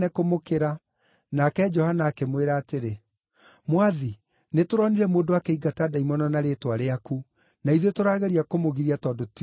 Nake Johana akĩmwĩra atĩrĩ, “Mwathi, nĩtũronire mũndũ akĩingata ndaimono na rĩĩtwa rĩaku, na ithuĩ tũrageria kũmũgiria tondũ ti ũmwe witũ.”